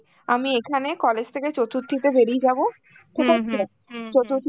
আমি এখানে college থেকে চতুর্থীতে বেরিয়ে যা ঠিক আছে, চতুর্থীতে